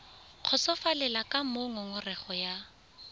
kgotsofalele ka moo ngongorego ya